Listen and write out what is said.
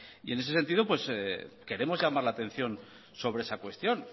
en ese sentido queremos llamar la atención sobre esa cuestión